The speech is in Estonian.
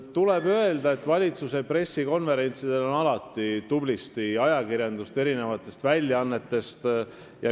Tuleb öelda, et valitsuse pressikonverentsidel on alati tublisti ajakirjanikke mitmetest väljaannetest.